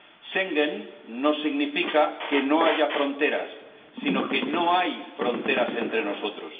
Schengen no significa que no haya fronteras, sino que no hay fronteras entre nosotros.